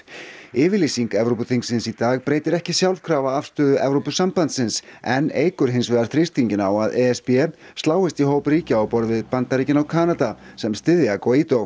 yfirlýsing þingsins í dag breytir ekki sjálfkrafa afstöðu Evrópusambandsins en eykur hins vegar þrýstinginn á að e s b sláist í hóp ríkja á borð við Bandaríkin og Kanada sem styðja